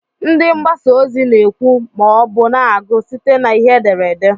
Ndị mgbasa ozi na-ekwu ma ọ bụ na-agụ site na ihe ederede.